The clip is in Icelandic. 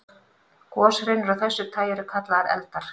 Goshrinur af þessu tagi eru kallaðar eldar.